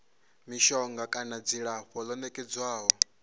mishonga kana dzilafho ḽo nekedzwaho